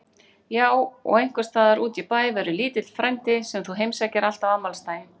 Já og einhvers staðar útí bæ verður lítill frændi sem þú heimsækir alltaf á afmælisdaginn.